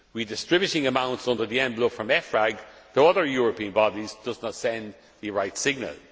Distributing amounts under the envelope from EFRAG to other European bodies does not send the right signal.